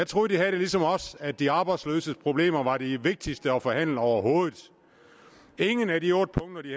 troede de havde det ligesom os at de arbejdsløses problemer var de vigtigste at forhandle overhovedet ingen af de otte punkter de